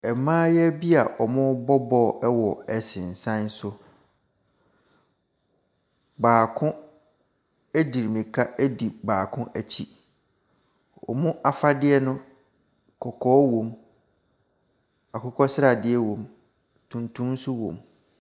Mmaayaa bia ɔrebɔ bɔɔl wɔ nsensan so. Baako edi mirika edi baako ɛkyi. Wɔn afadeɛ no kɔkɔɔ wɔ mu, akokɔ sradeɛ wɔ mu, tuntum nso wɔ mu.